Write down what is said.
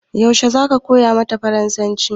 Yaushe zaka koya mata farasanci?